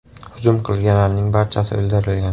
Hujum qilganlarning barchasi o‘ldirilgan.